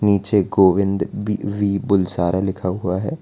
नीचे Govind B V Bulsara लिखा हुआ है।